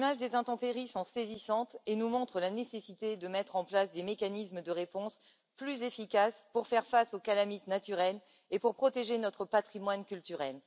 Les images de ces intempéries sont saisissantes et nous montrent la nécessité de mettre en place des mécanismes d'intervention plus efficaces pour faire face aux catastrophes naturelles et protéger notre patrimoine culturel.